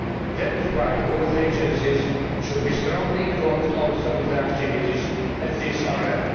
That is why both agencies should also be strongly involved in the activities in this area.